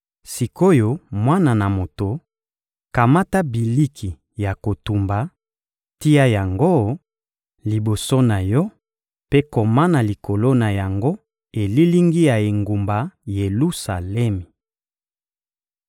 «Sik’oyo mwana na moto, kamata biliki ya kotumba, tia yango liboso na yo mpe koma na likolo na yango elilingi ya engumba Yelusalemi.